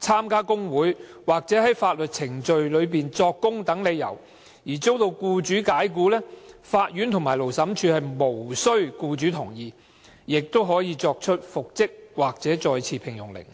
參加工會或在法律程序中作供等理由而遭僱主解僱，法院和勞審處可無須僱主同意而作出復職或再次聘用的命令。